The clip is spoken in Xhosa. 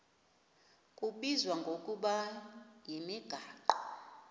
kubizwa ngokuba yimigaqo